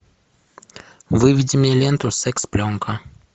выведи мне ленту секс пленка